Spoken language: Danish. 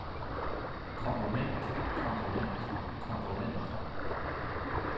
komponent komponent komponent